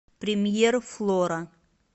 премьер флора